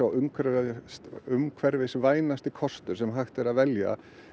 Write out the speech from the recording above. umhverfisvænasti umhverfisvænasti kostur sem hægt er að velja